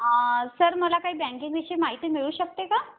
Sir मला काही बँके विषयी माहिती मिळू शकते का?